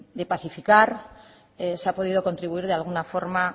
de pacificar se ha podido contribuir de alguna forma